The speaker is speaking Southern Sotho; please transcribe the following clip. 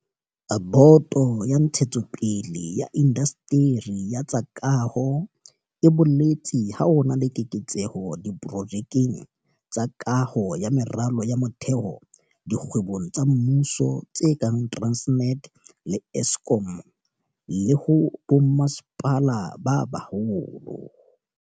Boto ya Ntshetsopele ya Indasteri ya tsa Kaho e boletse ha ho na le keketseho diprojekeng tsa kaho ya meralo ya motheo dikgwebong tsa mmuso tse kang Transnet le Eskom, le ho bommasepala ba baholo.